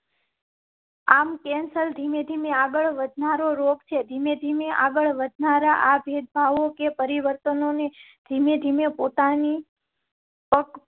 આમ કેન્સર ધીમે ધીમે આગળ વધનારો રોગ છે. ધીમે ધીમે આગળ વધનારા આ ભેદભાવો કે પરિવર્તનોં ને ધીમે ધીમે પોતાની.